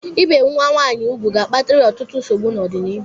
Ị bi nwa nwaanyị úgwù ga-akpatara ya ọtụtụ nsogbu n'ọdịnịhu